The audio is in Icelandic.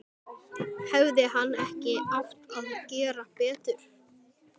Hefði hann ekki átt að gera betur?